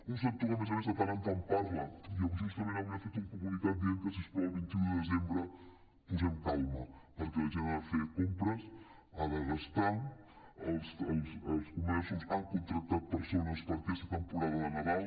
un sector que a més a més de tant en tant parla i justament avui ha fet un comu·nicat dient que si us plau el vint un de desembre posem calma perquè la gent ha de fer compres ha de gastar els comerços han contractat persones per aquesta temporada de nadal